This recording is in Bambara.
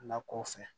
Lakɔw fɛ